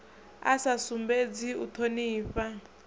a sa sumbedzi u thonifha